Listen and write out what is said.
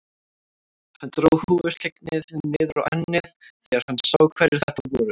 Hann dró húfuskyggnið niður á ennið þegar hann sá hverjir þetta voru.